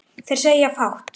Þeir segja fátt